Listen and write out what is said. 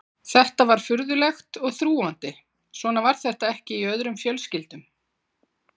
Þetta var furðulegt og þrúgandi, svona var þetta ekki í öðrum fjölskyldum.